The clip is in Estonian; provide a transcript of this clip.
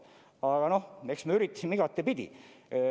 Aga noh, eks me üritasime igatepidi.